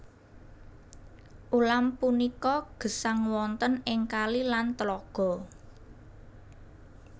Ulam punika gesang wonten ing kali lan tlaga